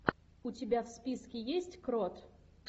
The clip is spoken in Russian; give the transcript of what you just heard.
у тебя в списке есть крот